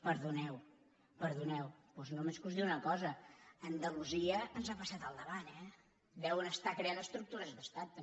perdoneu perdoneu doncs només cal que us digui una cosa andalusia ens ha passat al davant eh deuen estar creant estructu·res d’estat també